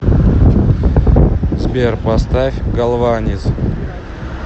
сбер поставь галваниз